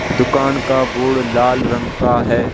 दुकान का बोर्ड लाल रंग का है।